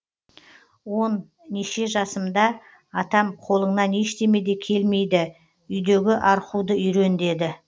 он неше жасымда атам қолыңнан ештеме де келмейді үйдегі архуды үйрен деді